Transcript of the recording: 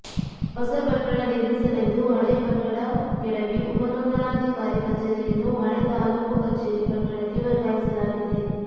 ಹೊಸ ಕಟ್ಟಡ ನಿರ್ಮಿಸಲೆಂದು ಹಳೆಯ ಕಟ್ಟಡ ಕೆಡವಿ ಉಪ ನೋಂದಣಾಧಿಕಾರಿ ಕಚೇರಿಯನ್ನು ಹಳೆ ತಾಲೂಕು ಕಚೇರಿ ಕಟ್ಟಡಕ್ಕೆ ವರ್ಗಾಯಿಸಲಾಗಿದೆ